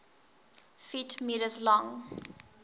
ft m long